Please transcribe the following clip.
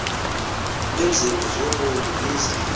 iinzima zobomi niza